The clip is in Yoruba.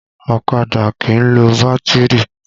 Ọ̀kadà kìí lo bátìrì